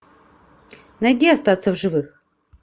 найди остаться в живых